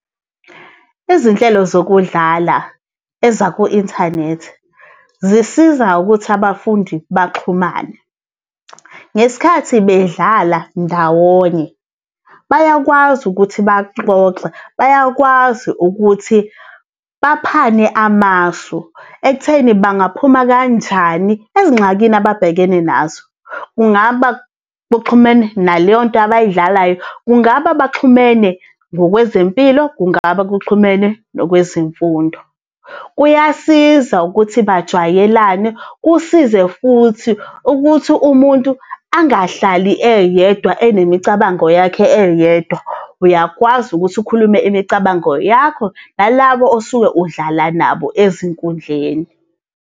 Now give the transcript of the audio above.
Izinhlelo zokudlala ezaku-inthanethi zisiza ukuthi abafundi baxhumane. Ngesikhathi bedlala ndawonye bayakwazi ukuthi baxoxe, bayakwazi ukuthi baphane amasu ekutheni bangaphuma kanjani ezingxakini ababhekene nazo. Kungaba buxhumene naleyo nto abay'dlalayo, kungaba baxhumene ngokwezempilo, kungaba kuxhumene nokwezemfundo. Kuyasiza ukuthi bajwayelane, kusize futhi ukuthi umuntu angahlali eyedwa enemicabango yakhe eyedwa, uyakwazi ukuthi ukhulume imicabango yakho nalabo osuke udlala nabo ezinkundleni.